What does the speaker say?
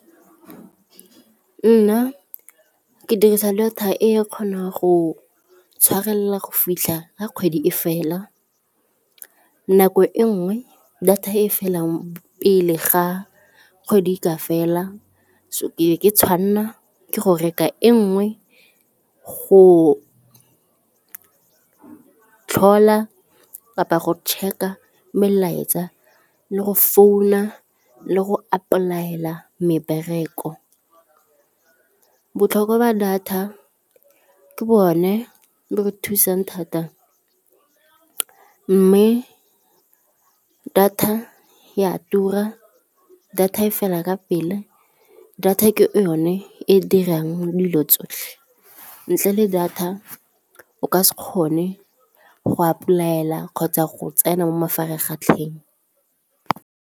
Nna ke dirisa data e kgonang go tshwarelela go fitlha a kgwedi e fela nako e nngwe data e felang pele ga kgwedi e ka fela so ke be tshwanna ke go reka e nngwe go tlhola kapa go check-a melaetsa le go founa le go apply-ela mebereko. Botlhokwa ba data ke bone bo re thusang thata mme data ya tura, data e fela ka pele, data ke yone e dirang dilo tsotlhe, ntle le data o ka se kgone go apply-ela kgotsa go tsena mo mafaratlhatlheng.